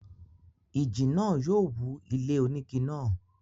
ìjì náà yóò wú ilé onígi náà.